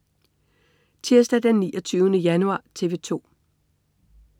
Tirsdag den 29. januar - TV 2: